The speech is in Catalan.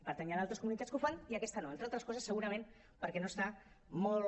per tant hi han altres comunitats que ho fan i aquesta no entre altres coses segurament perquè no està molt